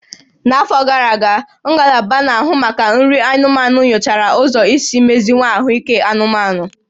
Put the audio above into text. N'afọ gara aga, Ngalaba Na-ahụ Maka Nri anụmanụ nyochara ụzọ isi meziwanye ahụike anụmanụ